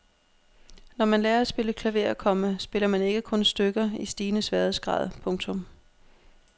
Når man lærer at spille klaver, komma spiller man ikke kun stykker i stigende sværhedsgrad. punktum